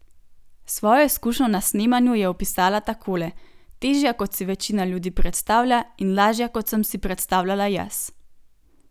Svojo izkušnjo na snemanju je opisala takole: "Težja, kot si večina ljudi predstavlja, in lažja, kot sem si predstavljala jaz.